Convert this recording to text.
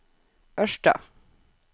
Ørsta